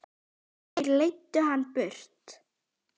Þeir leiddu hann burt.